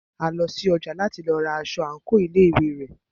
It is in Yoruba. A lọ sí ọjà láti lọ ra aṣọ àńkò ilé ìwé rẹ̀.